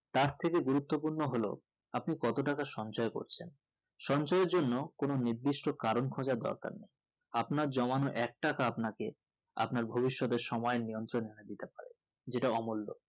তার থেকে গুরুতূপূর্ণ হলো আপনি কতটাকা সঞ্চয় করছেন সঞ্চয়ের জন্য কোনো নির্দিষ্ট কারণ খোজার দরকার নেই আপনার জমানো এক টাকা আপনাকে আপনার ভবিষতের সময় নিয়ন্ত্রণ দিতে পারে যেটা অমূল্য